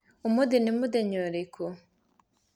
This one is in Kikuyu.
ũmũthĩ nĩ mũthenya ũrĩkũ?